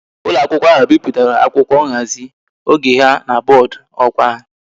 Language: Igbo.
Ulo akwukwo ahu biputara akwukwo nhazi oge ha na boodu okwa ha